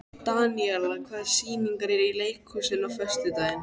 Daníela, hvaða sýningar eru í leikhúsinu á föstudaginn?